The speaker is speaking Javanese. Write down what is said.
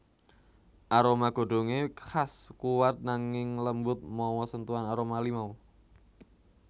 Aroma godhongé khas kuwat nanging lembut mawa sentuhan aroma limau